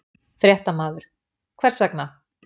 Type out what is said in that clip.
Fréttamaður: Hvers vegna?